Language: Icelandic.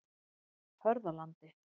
Hörðalandi